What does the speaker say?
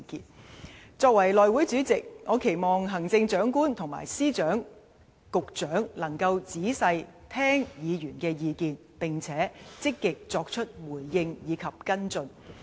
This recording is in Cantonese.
作為內務委員會主席，我期望行政長官和各司、局長能夠仔細聽取議員的意見，並積極作出回應及跟進。